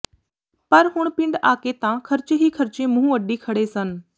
ਪਰ ਹੁਣ ਪਿੰਡ ਆਕੇ ਤਾਂ ਖਰਚੇ ਹੀ ਖਰਚੇ ਮੂੰਹ ਅੱਡੀਂ ਖੜ੍ਹੇ ਸਨ